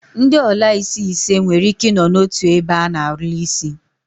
Ndi olaisi ise nwere Ike I no n'otu ebe a na-ala isi